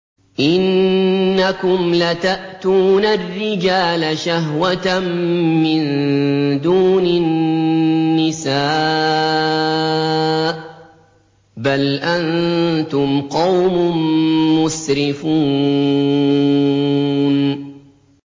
إِنَّكُمْ لَتَأْتُونَ الرِّجَالَ شَهْوَةً مِّن دُونِ النِّسَاءِ ۚ بَلْ أَنتُمْ قَوْمٌ مُّسْرِفُونَ